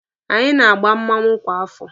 Anyị na-agba mmanwụ kwa afọ.